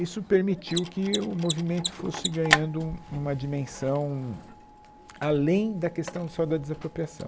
Isso permitiu que o movimento fosse ganhando um, uma dimensão além da questão só da desapropriação.